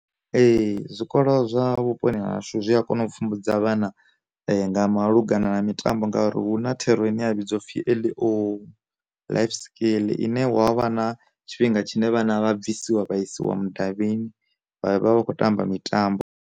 Ee, zwikolo zwa vhuponi ha hashu zwi a kona u pfumbudza vhana nga malugana na mitambo ngauri hu na thero ine ya vhidziwa u pfi L.O, life skill, ine wa vha na tshifhinga tshine vhana vha bvisiwa vha isiwa mudavhini vha vha vha khou tamba mitambo.